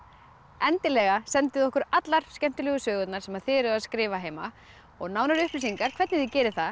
endilega sendið okkur allar skemmtilegu sögurnar sem þið eruð að skrifa heima og nánari upplýsingar hvernig þið gerið það